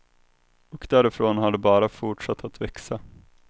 Och därifrån har det bara fortsatt att växa.